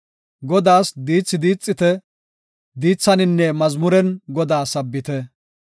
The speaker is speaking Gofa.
Godaas diithi diixite; diithaninne mazmuren Godaa sabbite.